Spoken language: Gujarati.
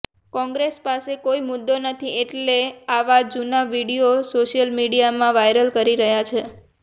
કોંગ્રેસ પાસે કોઈ મુદ્દો નથી એટલે આવા જુના વીડિયો સોશિયલ મીડિયામાં વાયરલ કરી રહ્યાં છે